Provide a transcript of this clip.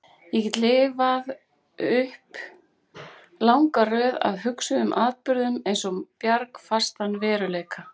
Ég get lifað upp langa röð af hugsuðum atburðum eins og bjargfastan veruleika.